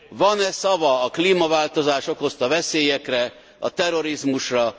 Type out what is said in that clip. Van e szava a klímaváltozás okozta veszélyekre, a terrorizmusra?